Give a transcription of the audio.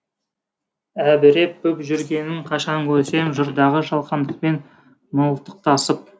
әбіреп боп жүргенің қашан көрсем жырдағы жалғандықпен мылтықтасып